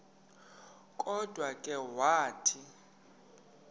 kodwa ke wathi